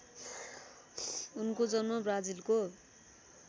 उनको जन्म ब्राजिलको